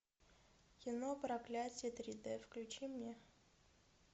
кино проклятие три дэ включи мне